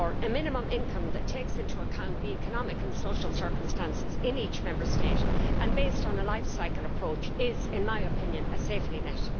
Therefore, a minimum income that takes into account the economic and social circumstances in each Member State and is based on a life cycle approach is, in my opinion, a safety net.